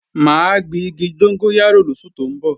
Mà á gbin igi dógóyárò lóṣù tó ń bọ̀